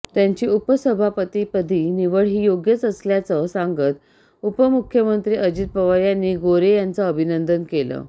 त्यांची उपसभापतीपदी निवड ही योग्यच असल्याचं सांगत उपमुख्यमंत्री अजित पवार यांनी गोऱ्हे यांचं अभिनंदन केलं